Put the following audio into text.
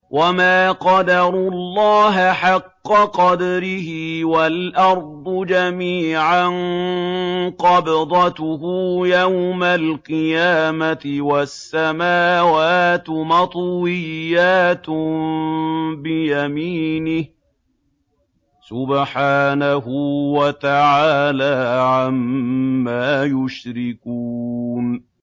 وَمَا قَدَرُوا اللَّهَ حَقَّ قَدْرِهِ وَالْأَرْضُ جَمِيعًا قَبْضَتُهُ يَوْمَ الْقِيَامَةِ وَالسَّمَاوَاتُ مَطْوِيَّاتٌ بِيَمِينِهِ ۚ سُبْحَانَهُ وَتَعَالَىٰ عَمَّا يُشْرِكُونَ